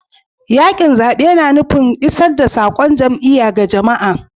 Yakin zabe na nufin isar da saƙon jam'iyya ga jama'a.